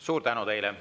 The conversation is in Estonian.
Suur tänu!